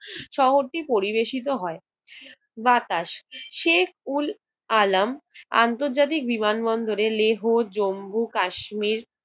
শহরটি পরিবেশিত হয়। বাতাস! শেখ উল আলাম আন্তর্জাতিক বিমানবন্দরে লেহু, জম্মু, কাশ্মীর,